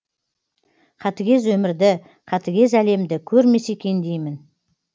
қатыгез өмірді қатыгез әлемді көрмесе екен деймін